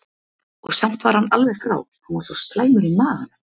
Og samt var hann alveg frá, hann var svo slæmur í maganum.